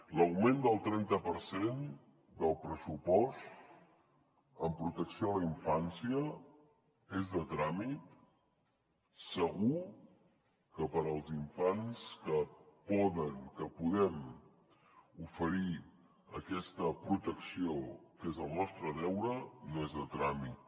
l’augment del trenta per cent del pressupost en protecció a la infància és de tràmit segur que per als infants a qui podem oferir aquesta protecció que és el nostre deure no és de tràmit